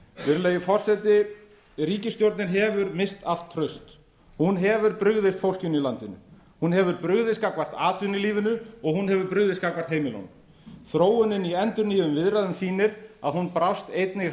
virðulegi forseti ríkisstjórnin hefur misst allt traust hún hefur brugðist fólkinu í landinu hún hefur brugðist gagnvart atvinnulífinu og hún hefur brugðist gagnvart heimilunum þróunin í endurnýjuðum viðræðum sýnir að hún brást einnig